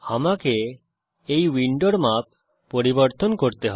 আমাকে এই উইন্ডোর মাপ পরিবর্তন করতে হবে